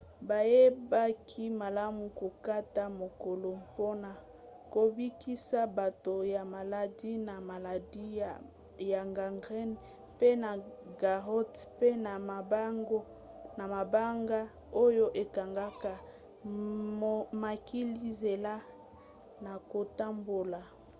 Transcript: bayebaki malamu kokata makolo mpona kobikisa bato ya maladi na maladi ya gangrène pe na garrots pe na mabanga oyo ekangaka makila nzela na kotambola